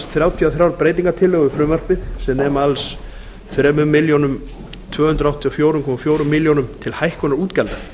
þrjátíu og þrjár breytingartillögur við frumvarpið sem nema alls þrjú þúsund tvö hundruð áttatíu og fjögur komma fjögur er til hækkunar útgjalda